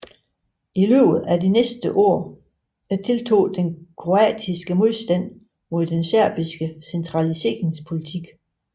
I løbet af de næste år tiltog den kroatiske modstand mod den serbiske centraliseringspolitik